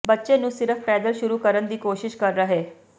ਬੱਚੇ ਨੂੰ ਸਿਰਫ਼ ਪੈਦਲ ਸ਼ੁਰੂ ਕਰਨ ਦੀ ਕੋਸ਼ਿਸ਼ ਕਰ ਰਹੇ